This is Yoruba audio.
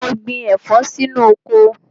Mo gbin ẹ̀fọ́ sí inú oko.